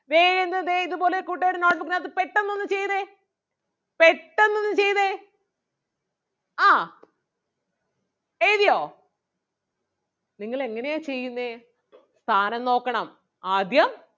പെട്ടെന്ന് ഒന്ന് ചെയ്തേ ആഹ് എഴുതിയോ നിങ്ങൾ എങ്ങനെയാ ചെയ്യുന്നേ സ്ഥാനം നോക്കണം ആദ്യം